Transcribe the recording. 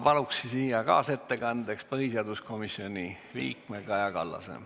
Palun siia kaasettekandeks põhiseaduskomisjoni liikme Kaja Kallase.